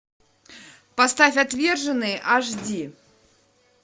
поставь отверженные аш ди